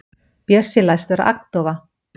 Bjössi læst vera agndofa.